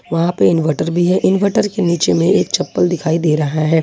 वहां पे इनवर्टर भी है इनवर्टर के नीचे में एक चप्पल दिखाई दे रहा है।